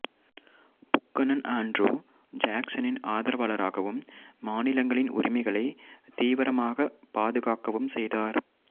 Buchanan Andrew ஜாக்சனின் ஆதரவாளராகவும் மாநிலங்களின் உரிமைகளை தீவிரமாகப் பாதுகாக்கவும் செய்தார்